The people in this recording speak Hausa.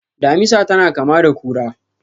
Damisa tana kama da kura.